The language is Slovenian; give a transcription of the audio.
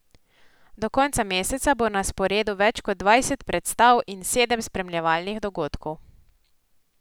Do konca meseca bo na sporedu več kot dvajset predstav in sedem spremljevalnih dogodkov.